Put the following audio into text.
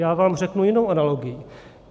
Já vám řeknu jinou analogii.